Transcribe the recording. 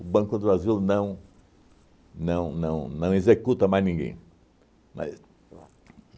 O Banco do Brasil não não não não executa mais ninguém. Mas